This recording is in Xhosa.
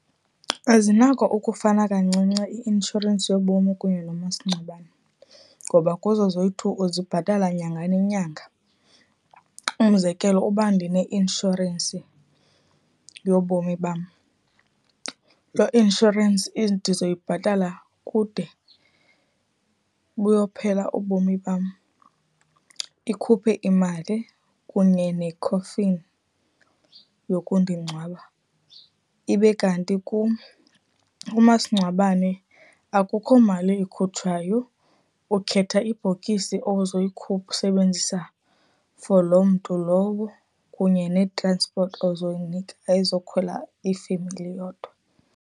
Zinako ukufana kancinci i-inshorensi yobomi kunye nomasingcwabane, ngoba kuzo zoyi-two uzibhatala nyanga nenyanga. umzekelo, uba ndineinshorensi yobomi bam, lo inshorensi ndizoyibhatala kude buyophela ubomi bam, ikhuphe imali kunye nekhofini yokundingcwaba. Ibe kanti kum umasingcwabane akukho mali ikhutshwayo. Ukhetha ibhokisi sebenzisa for loo mntu lowo, kunye ne-transipoti ozoyinida ezokukhwela ifemeli yodwa.